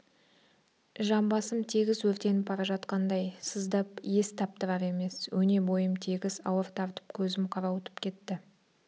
жамбасым тегіс өртеніп бара жатқандай сыздап ес таптырар емес өне бойым тегіс ауыр тартып көзім қарауытып кетті